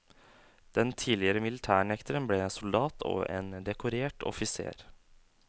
Den tidligere militærnekteren ble soldat og en dekorert offiser.